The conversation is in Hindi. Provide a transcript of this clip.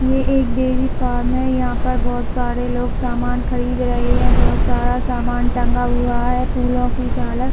ये एक डेयरी फॉर्म है यहाँ पर बहुत सारे लोग सामान खरीद रहे है बहुत सारा सामान टंगा हुआ है फूलो की झालर--